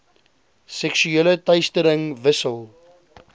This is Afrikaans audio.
seksuele teistering wissel